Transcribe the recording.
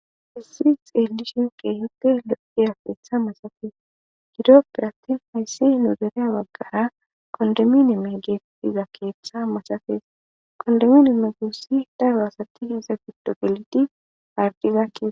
essix edishinke hipte loqqi afeetha masafees gido pirattin haysse nu dereya waggaa qondomineme geettiza keeththa masafees qondomineme guossi daro asati iza giddo geliti ardizakkee.